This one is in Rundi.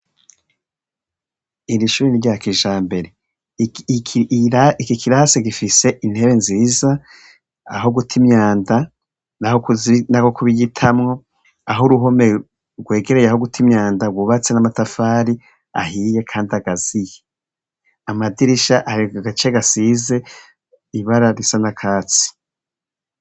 Iri shuri rya kijambere, iki kirase gifise intebe nziza aho guta imyanda n'aho kuyitamwo, aho uruhome rwegereye aho guta imyanda rwubatse n'amatafari ahiye kandi akaziye, amadirisha ari ku gace gasize ibara risa n'akatsi.